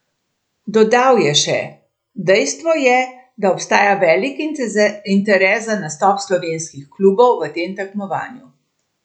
Dodal je še: "Dejstvo je, da obstaja velik interes za nastop slovenskih klubov v tem tekmovanju.